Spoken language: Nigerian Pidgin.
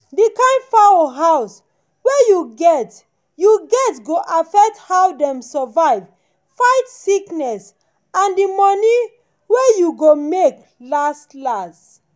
d kind fowl house were u get u get go affect how dem survive fight sickness and the money wey you go make last-last.